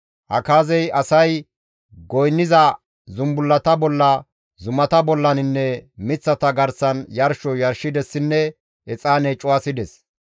Akaazey asay goynniza zumbullata bolla, zumata bollaninne miththata garsan yarsho yarshidessinne exaane cuwasides.